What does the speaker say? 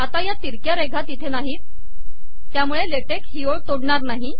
आता या तिरक्या रेघा तिथे नाहीत त्यामुळे ला टेक ही ओळ तोडणार नाही